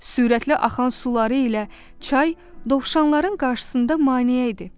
Sürətli axan suları ilə çay dovşanların qarşısında maneə idi.